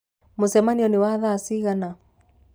Mũcemanio nĩ wa thaa cigana?